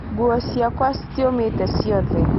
Nguo ciakwa cĩtĩomete cĩothe